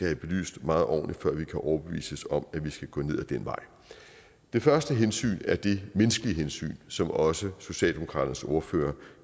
have belyst meget ordentligt før vi kan overbevises om at vi skal gå ned ad den vej det første hensyn er det menneskelige hensyn som også socialdemokraternes ordfører